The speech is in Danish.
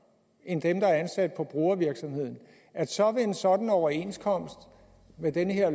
end dem der er ansat på brugervirksomheden så vil en sådan overenskomst med det her